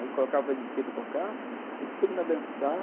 Aí colocava o ele pê para tocar e todo mundo ia dançar.